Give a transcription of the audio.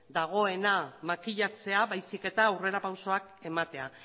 dagoena makilatzea baizik eta aurrera pausoak ematea